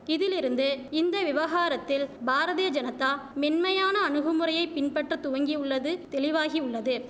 இதிலிருந்து இந்த விவகாரத்தில் பாரதிய ஜனதா மென்மையான அணுகுமுறையை பின்பற்ற துவங்கியுள்ளது தெளிவாகியுள்ளது